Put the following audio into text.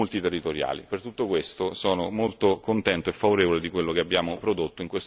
Per tutto questo sono molto contento e favorevole a quello che abbiamo prodotto in questo Parlamento su questo tema.